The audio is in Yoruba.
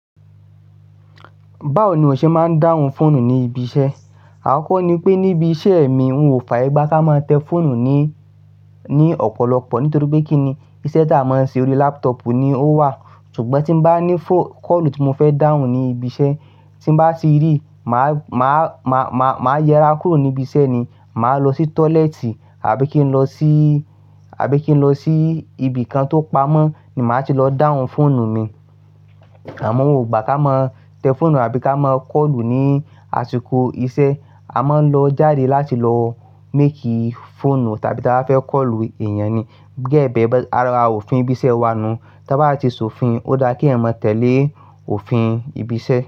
Báwo ni o ṣe máa ń dáhùn fóònù ní ibi iṣẹ́? Àkọ́kọ́ ni pé níbi iṣẹ́ mi wọn ò fààyè gbá ká máa tẹ fóònù ní, ní ọ̀pọ̀lọpọ̀ nítorí pé kí ni isẹ́ tá a máa ń ṣe orí laptop ni ó wà. Ṣùgbọ́n tí ń bá ní fóò, kọ́ọ̀lù tí mo fẹ́ dáhùn ní ibi iṣẹ́, tí bá ti rí, mà á, mà á, mà á yẹra kúrò níbi iṣẹ́ ni. Mà á lọ sí tọ́lẹ́ẹ̀tì àbí kí n lọ sí, àbí kí n lọ sí ibìkan tó pamọ́ ni mà á ti lọ dáhùn fóònù mi. Àmọ́ wọn ò gbà ká máa tẹ fóònù àbí ká máa kọ́ọ̀lù ní àsìkò iṣẹ́. A máa ń lọ jáde láti lọ make fóònù tàbí tí a fẹ́ kọ́ọ̀lù èèyàn ni. Gẹ́gẹ́ bí ẹ bẹ, ara òfin ibi iṣẹ́ wa nu. Tí a bá ti s'òfin, ó dára kí ẹ̀ mọ tẹ́lé òfin ibi iṣẹ́.